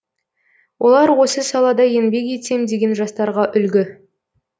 олар осы салада еңбек етсем деген жастарға үлгі